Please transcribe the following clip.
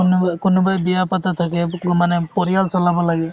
কোনোবাই বিয়া পটা থাকে মানে পৰিয়াল চলাব লাগে